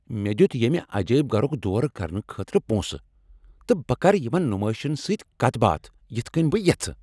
مےٚ دِیُت ییمہ عجٲیب گھرُک دورٕ کرنہٕ خٲطرٕ پونٛسہٕ، تہٕ بہٕ کرٕ یِمن نمٲیشن سۭتۍ کتھ باتھ یتھ کٕنۍ بہٕ یژھہٕ ۔